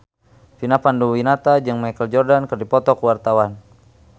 Vina Panduwinata jeung Michael Jordan keur dipoto ku wartawan